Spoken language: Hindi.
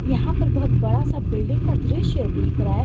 यहां पर बहोत बड़ा सा बिल्डिंग का दृश्य दिख रहा है।